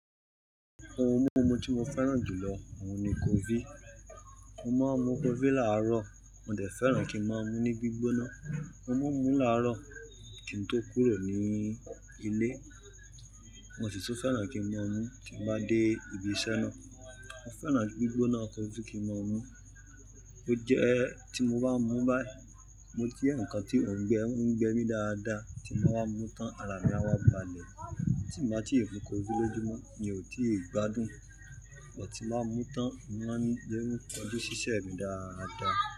Ohun mímu tí mo fẹ́ràn jùlọ ohun ni coffee. Mo máa ń mú coffee láàárọ̀, mo dẹ̀ fẹ́ràn kí ń máa mú ní gbígbóná. Mo mú ú láàárọ̀ kí n tó kúrò ní ilé, mo sì tún fẹ́ràn kí ń máa mú tí bá dé ibi iṣẹ́ ná. Mo fẹ́ràn gbígbóná coffee kí ń máa mú. Ó jẹ́ tí mo bá mú báyìí mo je eyan kan tí ò ń gbẹ mí dáadáa, tí mo bá mú tán ara mi á wá balẹ̀. Tí mo bá tíì fún coffee lójúmọ́ mi ò tíì gbádùn, but tíì máa mú tán, mo má ni le kọ̀jù ṣíṣe mi dáadáa.